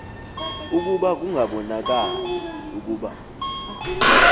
ukuba kungabonakali ukuba